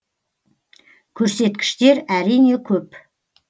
көрсеткіштер әрине көп